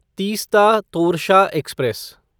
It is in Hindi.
तीस्ता तोरशा एक्सप्रेस